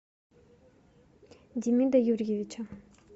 демида юрьевича